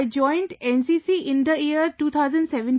I joined NCC in the year 2017